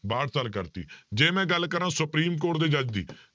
ਬਾਹਠ ਸਾਲ ਕਰ ਦਿੱਤੀ ਜੇ ਮੈਂ ਗੱਲ ਕਰਾਂ ਸੁਪਰੀਮ ਕੋਰਟ ਦੇ ਜੱਜ ਦੀ